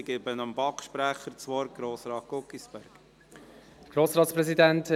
Ich gebe dem BaK-Sprecher, Grossrat Guggisberg, das Wort.